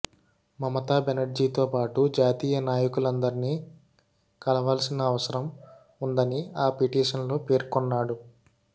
మమతా బెనర్జీతోపాటు జాతీయ నాయకులందర్నీ కలవాల్సిన అవసరం వుందని ఆ పిటిషన్లో పేర్కొన్నాడు